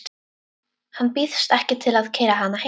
Hann býðst ekki til að keyra hana heim.